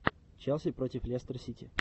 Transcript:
челси против лестер сити